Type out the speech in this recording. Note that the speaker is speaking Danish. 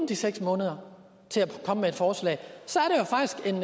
de seks måneder til at komme med forslag så